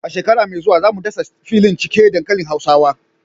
A shekara mai zuwa, za mu dasa filin cike dankalin hausawa.